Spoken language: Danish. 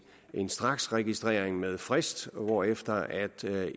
en straksregistrering med frist hvorefter